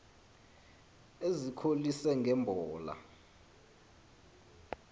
ezikholise nge mbola